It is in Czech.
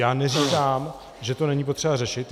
Já neříkám, že to není potřeba řešit.